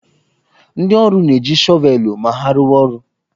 Ndị ọrụ na-eji shọvelụ ma ha rụwa orụ